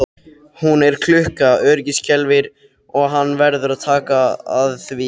Hún er klukka, öryggisskelfir og hann verður að taka því.